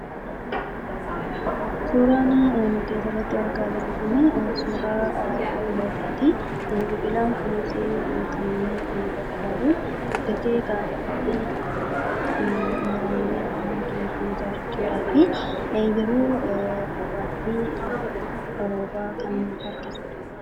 Suuraan gaditti argamu kun suuraa biqilaati. Biqilaan Kunis kan nu tajaajilu guddatee muramuun ittiin mana kan ijaaranii dha.